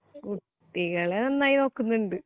കു കുട്ടികളെ നന്നായി നോക്കുന്നുണ്ട്